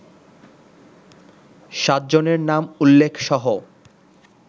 সাতজনের নাম উল্লেখসহ